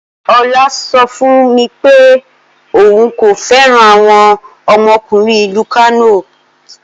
Ola so fun mi pe oun ko feran awon omokunrin ilu Kano.